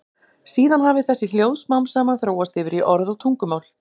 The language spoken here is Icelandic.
Síðan hafi þessi hljóð smám saman þróast yfir í orð og tungumál.